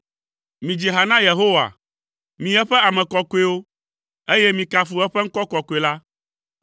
Midzi ha na Yehowa, mi eƒe ame kɔkɔewo, eye mikafu eƒe ŋkɔ kɔkɔe la.